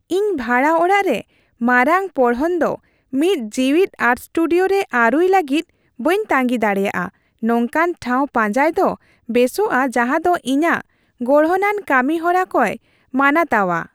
ᱤᱧ ᱵᱷᱟᱲᱟ ᱚᱲᱟᱜ ᱨᱮ ᱢᱟᱨᱟᱝ ᱯᱚᱲᱦᱚᱱ ᱫᱚ ᱢᱤᱫ ᱡᱤᱣᱤᱫ ᱟᱨᱴ ᱥᱴᱩᱰᱤᱭᱳ ᱨᱮ ᱟᱹᱨᱩᱭ ᱞᱟᱹᱜᱤᱫ ᱵᱟᱹᱧ ᱛᱟᱸᱜᱤ ᱫᱟᱲᱮᱭᱟᱜᱼᱟ ᱾ ᱱᱚᱝᱠᱟᱱ ᱴᱷᱟᱣ ᱯᱟᱸᱡᱟᱭ ᱫᱚ ᱵᱮᱥᱚᱜᱼᱟ ᱡᱟᱦᱟᱸᱫᱚ ᱤᱧᱟᱹᱜ ᱜᱚᱲᱦᱚᱱᱟᱱ ᱠᱟᱹᱢᱤᱦᱚᱨᱟ ᱠᱚᱭ ᱢᱟᱱᱟᱛᱟᱣᱟ ᱾